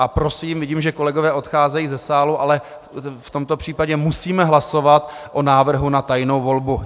A prosím, vidím, že kolegové odcházejí ze sálu, ale v tomto případě musíme hlasovat o návrhu na tajnou volbu.